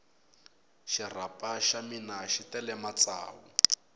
xirapha xa mina xi tele matsavu